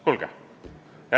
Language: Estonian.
Kuulge!